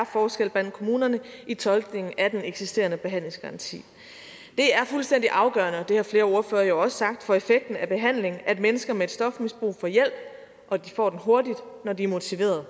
forskel blandt kommunerne i tolkningen af den eksisterende behandlingsgaranti det er fuldstændig afgørende og det har flere ordførere jo også sagt for effekten af behandlingen at mennesker med et stofmisbrug får hjælp og at de får den hurtigt når de er motiverede